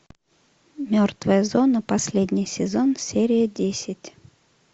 мертвая зона последний сезон серия десять